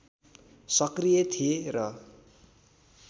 सक्रिय थिए र